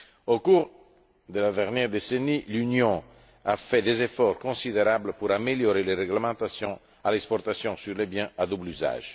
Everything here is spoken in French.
Au cours de la dernière décennie, l'Union a fait des efforts considérables pour améliorer les réglementations à l'exportation sur les biens à double usage.